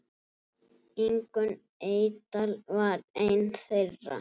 Ingunn Eydal var ein þeirra.